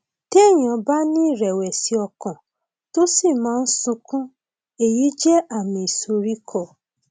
téèyàn bá ní ìrẹwẹsì ọkàn tó sì máa ń sunkún èyí jẹ àmì ìsoríkọ